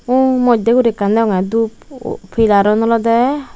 uu moidde guri ekkan deongge dup pilarun olode.